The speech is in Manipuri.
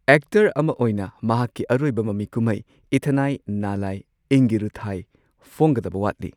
ꯑꯦꯛꯇꯔ ꯑꯃ ꯑꯣꯏꯅ ꯃꯍꯥꯛꯀꯤ ꯑꯔꯣꯏꯕꯃꯃꯤ ꯀꯨꯝꯍꯩ ꯏꯊꯅꯥꯏ ꯅꯥꯂꯥꯏ ꯑꯦꯡꯒꯤꯔꯨꯊꯥꯏ ꯐꯣꯡꯒꯗꯕ ꯋꯥꯠꯂꯤ꯫